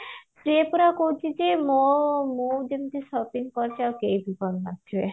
ସେ ପୁରା କହୁଛି ଯେ ମୁଁ ମୁଁ ଯେମତି shopping କରିଛି ଆଉ କେହି ବି କରି ନଥିବେ